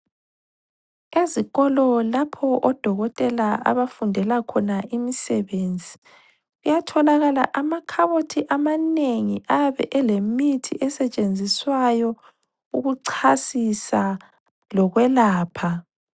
Ezikolo lapho odokotela abafundela khona imisebenzi, kuyatholakala amakhabothi amanengi ayabe elemithi esetshenziswayo ukuchasisa lokwelapha.